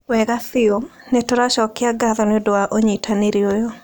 Wega biũ. Nĩ tũracokia ngatho nĩ ũndũ wa ũnyitanĩri ũyũ.